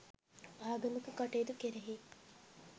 ආගමික කටයුතු කෙරෙහි